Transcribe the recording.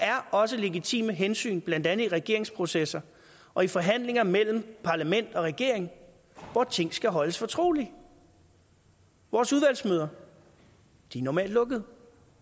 er også legitime hensyn blandt andet i regeringsprocesser og i forhandlinger mellem parlament og regering hvor ting skal holdes fortrolige vores udvalgsmøder er normalt lukkede